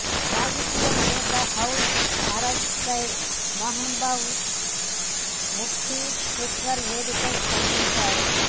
రాజకీయ నేత హౌజ్ అరెస్ట్పై మెహబూబా ముప్తీ ట్విట్టర్ వేదికగా స్పందించారు